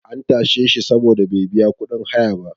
an tashe shi saboda bai biya kudin haya ba